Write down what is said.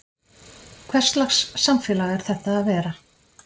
Hverslags samfélag er þetta að vera?